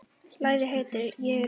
Lagið heitir Ég er nóg.